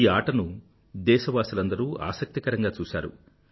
ఈ ఆటను దేశవాసులందరూ ఆసక్తికరంగా చూసారు